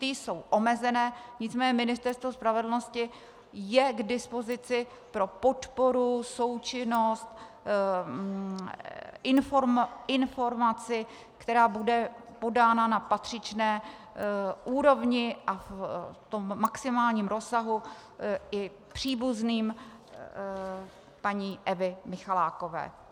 Ty jsou omezené, nicméně Ministerstvo spravedlnosti je k dispozici pro podporu, součinnost, informaci, která bude podána na patřičné úrovni a v tom maximálním rozsahu i příbuzným paní Evy Michalákové.